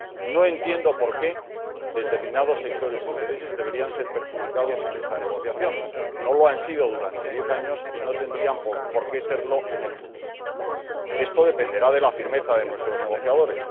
No entiendo por qué determinados sectores o intereses deberían salir perjudicados en esta negociación. No ha sido así durante diez años y no tendría por qué serlo en el futuro. Esto dependerá de la firmeza de nuestros negociadores.